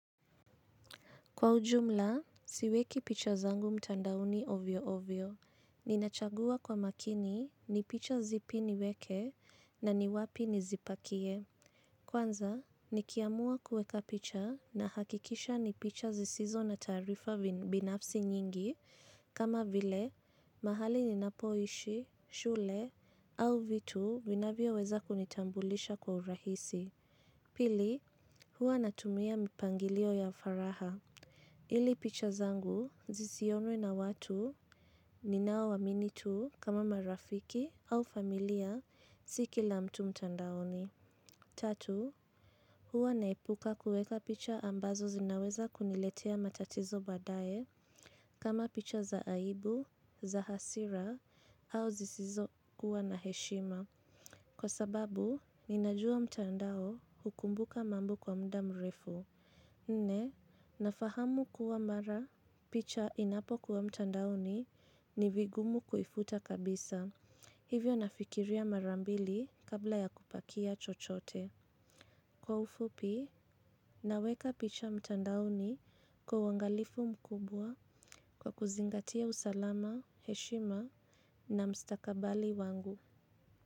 Kwa ujumla, siweki picha zangu mtandaoni ovyo ovyo. Ninachagua kwa makini, ni picha zipi niweke na ni wapi nizipakie. Kwanza, nikiamua kueka picha nahakikisha ni picha zisizo na taarifa binafsi nyingi. Kama vile, mahali ninapoishi, shule au vitu vinavyo weza kunitambulisha kwa urahisi. Pili, huwa natumia mpangilio ya faraha. Ili picha zangu zisionwe na watu ninao waamini tu kama marafiki au familia si kila mtu mtandaoni. Tatu, huwa naepuka kueka picha ambazo zinaweza kuniletea matatizo baadaye kama picha za aibu, za hasira au zisizo kuwa na heshima. Kwa sababu, ninajua mtandao hukumbuka mambo kwa muda mrefu. Nne, nafahamu kuwa mara picha inapokuwa mtandaoni ni vigumu kuifuta kabisa, hivyo nafikiria mara mbili kabla ya kupakia chochote. Kwa ufupi, naweka picha mtandaoni kwa uangalifu mkubwa kwa kuzingatia usalama, heshima na mstakabali wangu.